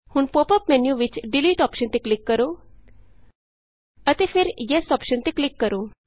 ਹੁਣ pop up menu ਵਿਚ delete delete option ਤੇ ਕਲਿਕ ਕਰੋ ਅਤੇ ਫਿਰ ਯੈੱਸ ਯੇਸ ਅੋਪਸ਼ਨ ਤੇ ਕਲਿਕ ਕਰੋ